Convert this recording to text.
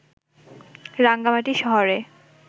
রাঙামাটি শহরে